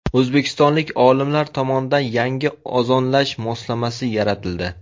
O‘zbekistonlik olimlar tomonidan yangi ozonlash moslamasi yaratildi.